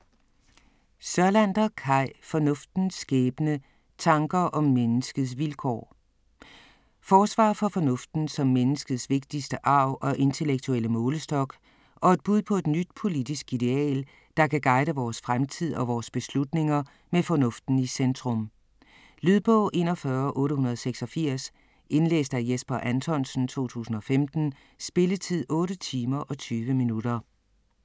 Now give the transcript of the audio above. Sørlander, Kai: Fornuftens skæbne: tanker om menneskets vilkår Forsvar for fornuften som menneskets vigtigste arv og intellektuelle målestok, og et bud på et nyt politisk ideal, der kan guide vores fremtid og vores beslutninger med fornuften i centrum. Lydbog 41886 Indlæst af Jesper Anthonsen, 2015. Spilletid: 8 timer, 20 minutter.